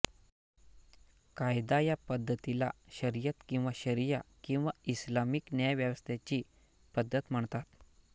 कायदा या पद्धतीला शरीयत किंवा शरिया किंवा इस्लामिक न्यायव्यवस्थेची पद्धत म्हणतात